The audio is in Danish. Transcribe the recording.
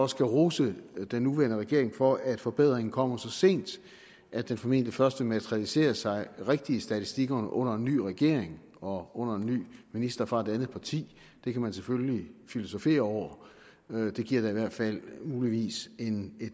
skal rose den nuværende regering for at forbedringen kommer så sent at den formentlig først vil materialisere sig rigtig i statistikkerne under en ny regering og under en ny minister fra et andet parti kan man selvfølgelig filosofere over det giver da i hvert fald muligvis en